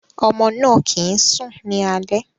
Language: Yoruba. Ọmọ náà kìí sùn ní alẹ́.